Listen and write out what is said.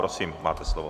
Prosím, máte slovo.